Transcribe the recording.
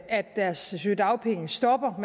at deres sygedagpenge stopper at